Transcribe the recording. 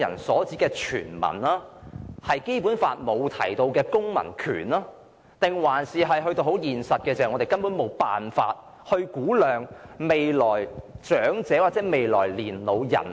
我不知道是因為《基本法》沒有訂明何謂"公民"，還是因為在現實上，我們根本無法估量未來的長者人口。